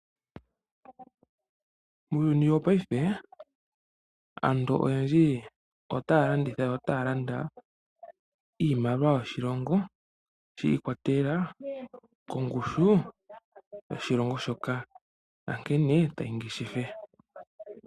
Muuyuni wopaife aantu oyendji otaya landitha yo otaya landa, niimaliwa yoshilongo, shi ikwatelela kongushu yoshilongo shoka, nankene tayi ngeshefa.